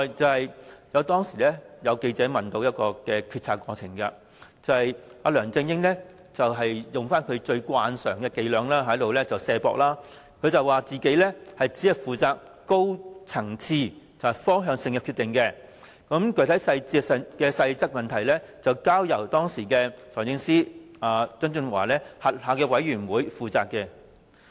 此外，當有記者問及決策過程，梁振英慣常使用卸責伎倆，聲稱自己只負責高層次、方向性的決定，有關具體細節及細則的問題則交由時任財政司司長曾俊華轄下的督導委員會負責。